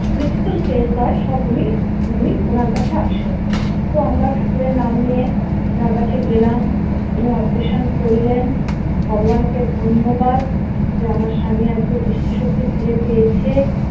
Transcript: critical case হয় সব উনি উনি ওনার কাছে আসেন তো আমরা ঠাকুরের নাম নিয়ে ওনার কাছে গেলাম উনি অপারেশন করলেন ভগবানকে ধন্যবাদ যে আমার স্বামী আজকে দৃষ্টিশক্তি ফিরে পেয়েছে।